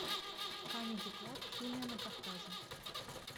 камеди клаб химия на кавказе